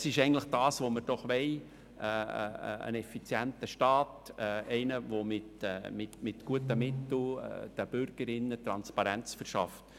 Das ist eigentlich das, was wir wollen: einen effizienten Staat und ein Staat, welcher mit guten Mitteln den Bürgerinnen und Bürgern Transparenz verschafft.